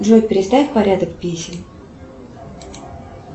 джой переставь порядок песен